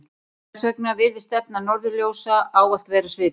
hvers vegna virðist stefna norðurljósa ávallt vera svipuð